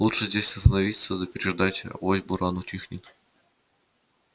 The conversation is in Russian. лучше здесь остановиться да переждать авось буран утихнет